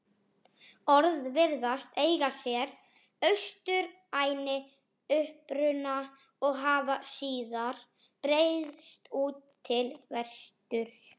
Orðið virðist eiga sér austrænni uppruna og hafa síðar breiðst út til vesturs.